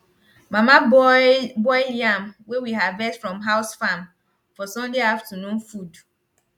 mama boil boil yam wey we harvest from house farm for sunday afternoon food